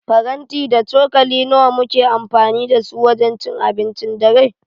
Faranti da cokali nawa muke amfani da su wajen cin abincin dare?